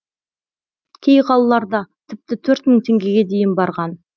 кей қалаларда тіпті төрт мың теңгеге дейін барған